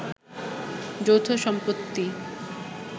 যৌথ সম্পত্তি